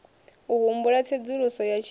u humbela tsedzuluso ya tshiimo